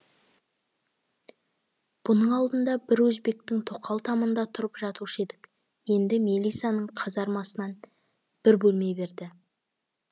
бұның алдында бір өзбектің тоқал тамында тұрып жатушы едік енді мелисаның казармасынан бір бөлме берді